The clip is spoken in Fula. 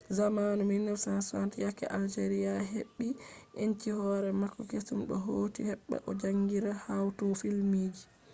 zamanu 1960 yakke algeria heɓɓi enci hoore mako keesum o hooti heɓɓba o jaangina hawtugo filmji